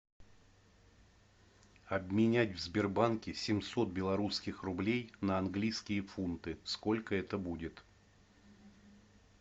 обменять в сбербанке семьсот белорусских рублей на английские фунты сколько это будет